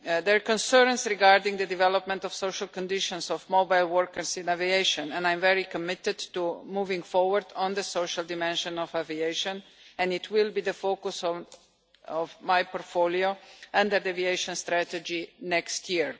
There are concerns regarding the development of social conditions of mobile workers in aviation and I am very committed to moving forward on the social dimension of aviation and it will be the focus of my portfolio and an aviation strategy next year.